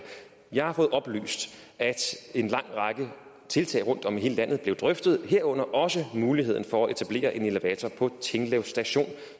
jeg har fået oplyst at en lang række tiltag rundtom i hele landet blev drøftet herunder også muligheden for at etablere en elevator på tinglev station